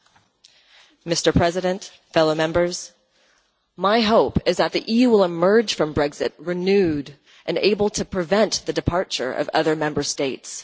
Mr President, fellow Members, my hope is that the EU will emerge from Brexit renewed and able to prevent the departure of other Member States.